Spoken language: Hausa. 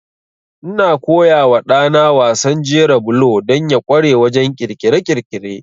Ina koya wa ɗana wasan jera bulo don ya ƙware wajen ƙirƙire-ƙirƙire.